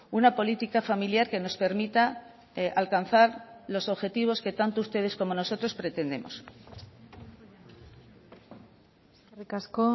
una política familiar que nos permita alcanzar los objetivos que tanto ustedes como nosotros pretendemos eskerrik asko